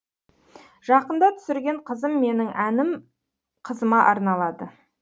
жақында түсірген қызым менің әнім қызыма арналады